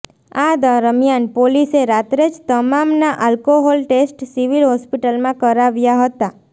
આ દરમિયાન પોલીસે રાત્રે જ તમામના આલ્કોહોલ ટેસ્ટ સિવિલ હોસ્પિટલમાં કરાવ્યા હતા